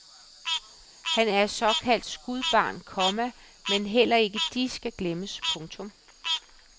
Han er et såkaldt skudbarn, komma men heller ikke de skal glemmes. punktum